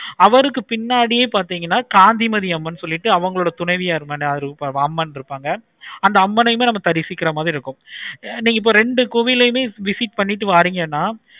அவருக்கு பின்னாடி பார்த்தீங்கன்னா காந்திமதி அம்மன் சொல்லிட்டு அவங்களுடைய துணைவியார் அம்மன் இருப்பாங்க. அந்த அம்மனையும் நம்ம சரி சீக்கிரமாவே இருக்கும். நீங்க ரெண்டு கோவிலையும் visit பண்ணிட்டு வாறீங்கனா